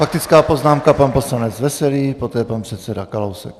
Faktická poznámka - pan poslanec Veselý, poté pan předseda Kalousek.